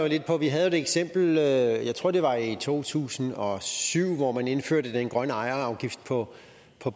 lidt på at vi havde et eksempel jeg tror det var i to tusind og syv hvor man indførte den grønne ejerafgift på